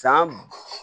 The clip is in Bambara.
San